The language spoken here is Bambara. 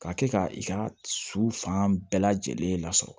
Ka kɛ ka i ka su fan bɛɛ lajɛlen lasɔrɔ